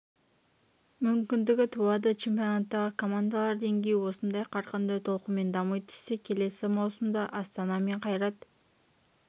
мүмкіндігі туады чемпионаттағы командалар деңгейі осындай қарқынды толқынмен дами түссе келесі маусымда астана мен қайрат